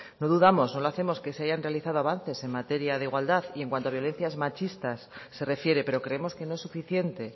no dudamos que se hayan realizado avances en materia de igualdad y en cuanto a violencias machistas se refiere pero creemos que no es suficiente